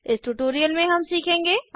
इस ट्यूटोरियल में हम सीखेंगे